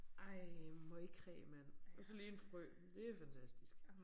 Ej møgkræ mand og så lige en frø det fantastisk